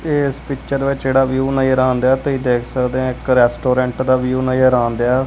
ਇਸ ਪਿਚਰ ਵਿੱਚ ਜਿਹੜਾ ਵਿਊ ਨਜ਼ਰ ਆਉਂਦਿਆ ਤੇ ਦੇਖ ਸਕਦੇ ਇੱਕ ਰੈਸਟੋਰੈਂਟ ਦਾ ਵਿਊ ਨਜ਼ਰ ਆਉਣਦਿਆ।